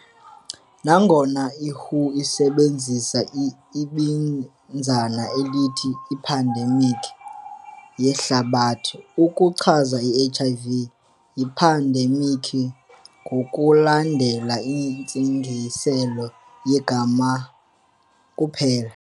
Nangona iWHO isebenzisa ibinzana elithi "i-ephidemikhi yehlabathi" ukuchaza iHIV, yiphandemikhi ngokulandela intsingiselo yegama kuphela.